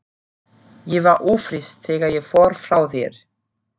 Ég var ófrísk þegar ég fór frá þér.